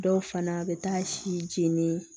Dɔw fana bɛ taa si jeni